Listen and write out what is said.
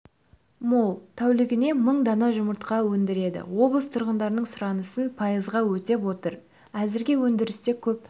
мол тәулігіне мың дана жұмыртқа өндіреді облыс тұрғындарының сұранысын пайызға өтеп отыр әзірге өндірісте көп